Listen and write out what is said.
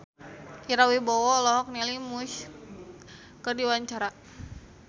Ira Wibowo olohok ningali Muse keur diwawancara